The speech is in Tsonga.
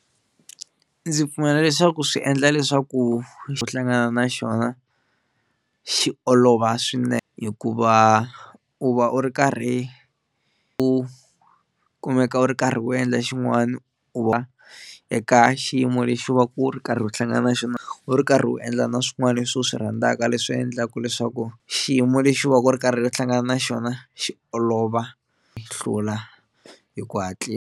Ndzi pfumela leswaku swi endla leswaku u hlangana na xona xi olova swinene hikuva u va u ri karhi u kumeka u ri karhi u endla xin'wana u eka xiyimo lexi va ku ri karhi u hlangana na xona u ri karhi u endla na swin'wana leswi u swi rhandzaka leswi endlaka leswaku xiyimo lexi u va ku u ri karhi u hlangana na xona xi olova hlula hi ku hatlisa.